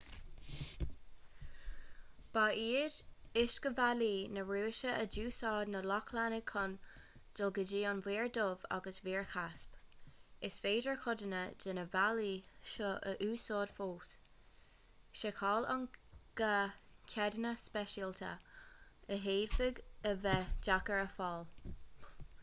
ba iad uiscebhealaí na rúise a d'úsáid na lochlannaigh chun dul go dtí an mhuir dhubh agus an mhuir chaisp is féidir codanna de na bealaí seo a úsáid fós seiceáil an gá ceadanna speisialta a d'fhéadfadh a bheith deacair a fháil